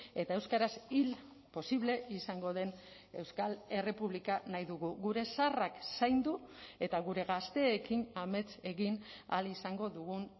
eta euskaraz hil posible izango den euskal errepublika nahi dugu gure zaharrak zaindu eta gure gazteekin amets egin ahal izango dugun